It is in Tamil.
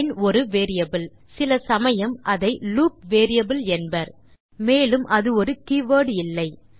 லைன் ஒரு வேரியபிள் சில சமயம் அதை லூப் வேரியபிள் என்பர் மேலும் அது ஒரு கீவர்ட் இல்லை